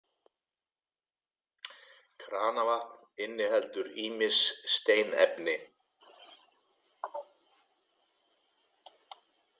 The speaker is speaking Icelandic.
Kranavatn inniheldur ýmis steinefni.